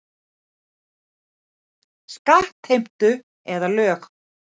Skattheimtu eða lög.